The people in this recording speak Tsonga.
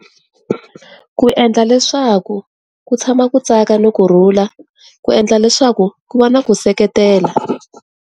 Ku endla leswaku ku tshama ku tsaka ni ku kurhula ku endla leswaku ku va na ku seketela.